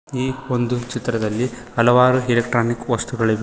ಈ ಒಂದು ಚಿತ್ರದಲ್ಲಿ ಹಲವಾರು ಎಲೆಕ್ಟ್ರಾನಿಕ್ ವಸ್ತುಗಳಿವೆ.